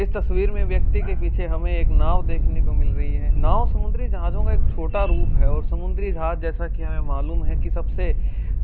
इस तस्वीर में व्यक्ति के पीछे हमें एक नाव देखने को मिल रही है नाव समुद्री जहाजो का एक छोटा रूप है और समुद्री जहाज जैसा कि हमें मालूम है की सबसे